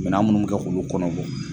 Minan munnu mi kɛ k'olu kɔnɔbɔ